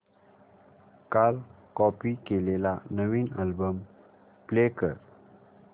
काल कॉपी केलेला नवीन अल्बम प्ले कर